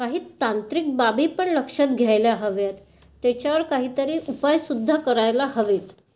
काही तांत्रिक बाबी पण लक्षात घ्यायला हव्यात. त्याच्यावर काही उपाय सुद्धा करायला हवेत.